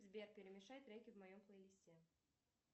сбер перемешай треки в моем плейлисте